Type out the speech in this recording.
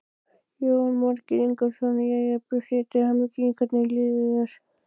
Jónas Margeir Ingólfsson: Jæja, Bjössi, til hamingju, hvernig líður þér?